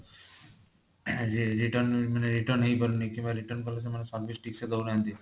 return ମାନେ return ହେଇପାରୁନି କିମ୍ବା return କାଲେ ସେମାନେ service ଠିକସେ ଦଉନାହାନ୍ତି